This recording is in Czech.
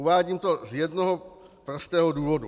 Uvádím to z jednoho prostého důvodu.